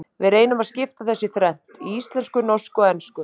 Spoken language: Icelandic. Við reynum að skipta þessu í þrennt, í íslensku, norsku og ensku.